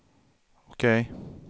OK